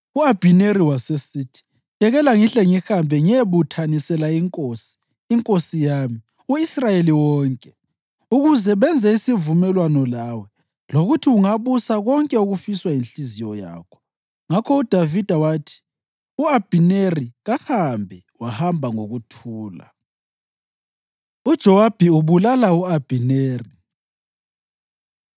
U-Abhineri wasesithi, “Yekela ngihle ngihambe ngiyebuthanisela inkosi, inkosi yami, u-Israyeli wonke, ukuze benze isivumelwano lawe, lokuthi ungabusa konke okufiswa yinhliziyo yakho.” Ngakho uDavida wathi u-Abhineri kahambe, wahamba ngokuthula. UJowabi Ubulala U-Abhineri